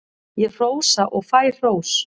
Ég hrósa og fæ hrós.